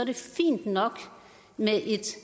vil et